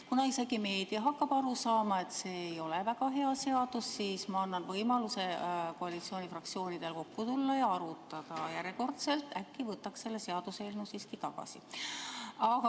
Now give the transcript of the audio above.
Kuna isegi meedia hakkab aru saama, et see ei ole väga hea seadus, siis ma annan koalitsiooni fraktsioonidele veel kord võimaluse kokku tulla ja arutada, et äkki võtaks selle seaduseelnõu siiski tagasi.